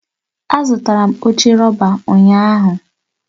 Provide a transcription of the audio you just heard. Azụtara m oche rọba ụnyahụ